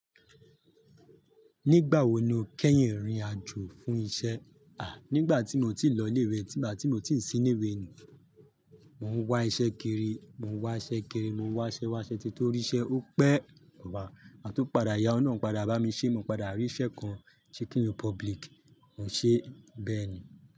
Nígbà wo ni o kẹ́yìn ìrìn àjò fún isẹ́? Nígbà tí mo ti lọ ilé ewẹ, nígbà tí mo ti sì ní wẹ́ẹ̀nù. Mo ń wá isẹ́ kiri, mo ń wá isẹ́ kiri, mo ń wá isẹ́, wá isẹ́ ki torí isẹ́ ó pẹ́. A tó padà, ìyánu olorun padà bá mi ṣé, mo padà rí isẹ́ kan, Chicken Republic, mo ṣe bẹ́ẹ̀ ni.